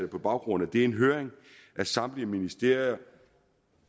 på baggrund af det en høring af samtlige ministerier